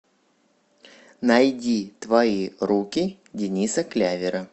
найди твои руки дениса клявера